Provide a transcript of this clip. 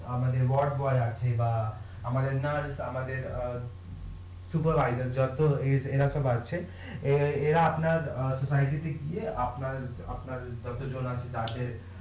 অ্যাঁ আমদের আছে বা আমাদের আমাদের অ্যাঁ যতো এরা সব আছে এ এরা আপনার গিয়ে আপনার আপনার যতো জন আছে তাদের